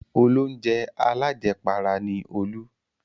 Olóunjẹ alájẹpara ni Olú.